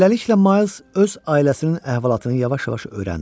Beləliklə, Mays öz ailəsinin əhvalatını yavaş-yavaş öyrəndi.